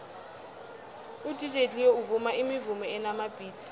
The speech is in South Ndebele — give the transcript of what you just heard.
udj cleo uvuma imivumo enamabhithi